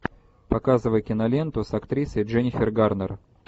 показывай киноленту с актрисой дженнифер гарнер